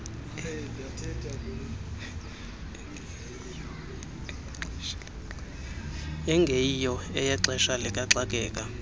engeyiyo eyexesha likaxakeka